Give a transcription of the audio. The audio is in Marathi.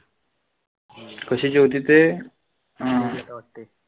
कशाचे होते ते? हां